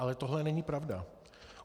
Ale tohle není pravda.